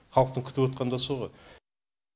халықтың күтіп да со ғой